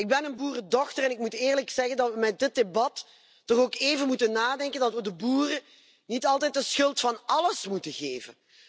Ik ben een boerendochter en ik moet eerlijk zeggen dan we in dit debat ook even moeten nadenken over het feit dat we de boeren niet altijd de schuld van alles moeten geven.